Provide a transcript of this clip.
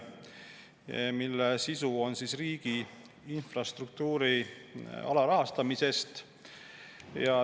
Arupärimise sisu on riigi infrastruktuuri alarahastamine.